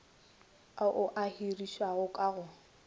ao a hirišiwang ka go